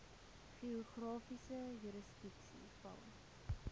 geografiese jurisdiksie val